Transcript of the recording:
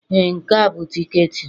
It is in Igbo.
Ee, Nke a bụ tiketi m.